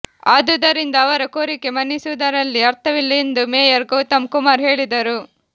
ಆದುದರಿಂದ ಅವರ ಕೋರಿಕೆ ಮನ್ನಿಸುವುದರಲ್ಲಿ ಅರ್ಥವಿಲ್ಲ ಎಂದು ಮೇಯರ್ ಗೌತಮ್ ಕುಮಾರ್ ಹೇಳಿದರು